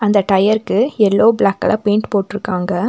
அந்த டயர்க்கு yellow black colour paint போட்ருக்காங்க.